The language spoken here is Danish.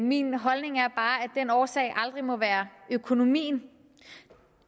min holdning er bare at årsagen aldrig må være økonomien